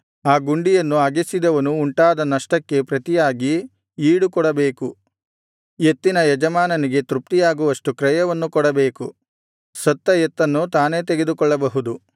ಆ ಗುಂಡಿಯನ್ನು ಅಗೆಸಿದವನು ಉಂಟಾದ ನಷ್ಟಕ್ಕೆ ಪ್ರತಿಯಾಗಿ ಈಡು ಕೊಡಬೇಕು ಎತ್ತಿನ ಯಜಮಾನನಿಗೆ ತೃಪ್ತಿಯಾಗುವಷ್ಟು ಕ್ರಯವನ್ನು ಕೊಡಬೇಕು ಸತ್ತ ಎತ್ತನ್ನು ತಾನೇ ತೆಗೆದುಕೊಳ್ಳಬಹುದು